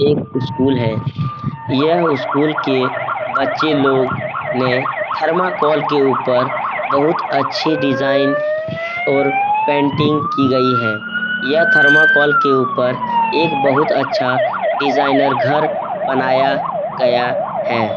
एक स्कूल है । यह स्कूल के बच्चे लोग ने थर्माकोल के ऊपर बहुत अच्छी डिजाइन और पेंटिंग की गई है । यह थर्माकोल के ऊपर एक बहुत अच्छा डिजाइनर घर बनाया गया है ।